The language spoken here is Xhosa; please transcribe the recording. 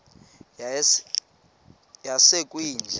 yasekwindla